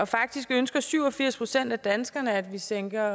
faktisk ønsker syv og firs procent af danskerne at vi sænker